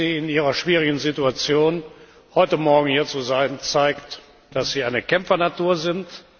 Das ehrt Sie in Ihrer schwierigen Situation. Heute Morgen hier zu sein, zeigt, dass Sie eine Kämpfernatur sind.